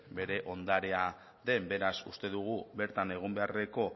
bere ondarea den beraz uste dugu bertan egon beharreko